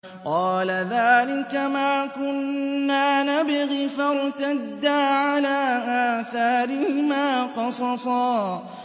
قَالَ ذَٰلِكَ مَا كُنَّا نَبْغِ ۚ فَارْتَدَّا عَلَىٰ آثَارِهِمَا قَصَصًا